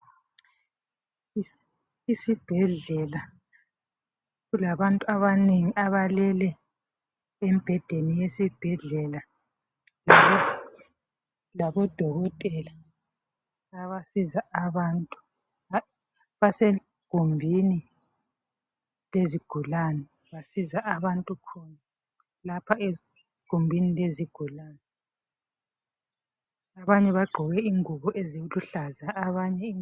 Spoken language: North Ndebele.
Isibhedlela kulabantu abanengi abalele embhedeni yesibhedlela , labodokotela abasiza abantu , basegumbini lezigulane basiza abantu lapha egumbini lezigulane , abanye bagqoke ingubo eziluhlaza abanye